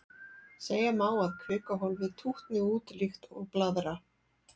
Segja má að kvikuhólfið tútni út líkt og blaðra.